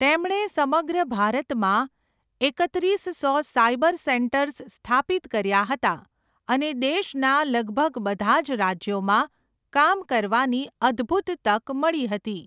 તેમણે સમગ્ર ભારતમાં એકત્રીસ્સો સાયબર સેન્ટર્સ સ્થાપિત કર્યા હતા અને દેશના લગભગ બધા જ રાજ્યોમાં કામ કરવાની અદ્ભુત તક મળી હતી.